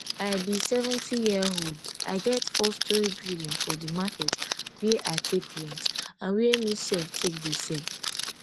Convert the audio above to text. i be seventyyearold i get fourstorey building for di market wia i take rent and wia me sef take dey sell